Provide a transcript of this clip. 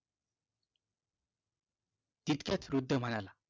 इतक्यात वृद्ध म्हणाला